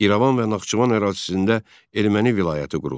İrəvan və Naxçıvan ərazisində erməni vilayəti quruldu.